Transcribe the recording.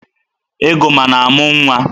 Egoma na-amụ nwa.